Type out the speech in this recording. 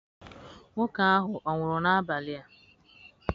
Nwoke ahụ ọ̀ nwụrụ n'abalị a?